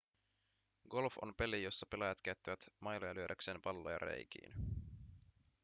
golf on peli jossa pelaajat käyttävät mailoja lyödäkseen palloja reikiin